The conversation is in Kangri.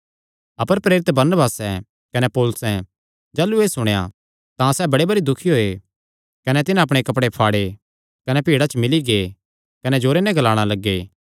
अपर प्रेरित बरनबासें कने पौलुसैं जाह़लू एह़ सुणेया तां सैह़ बड़े भरी दुखी होये कने तिन्हां अपणे कपड़े फाड़े कने भीड़ा च मिल्ली गै कने जोरे नैं ग्लाणा लग्गे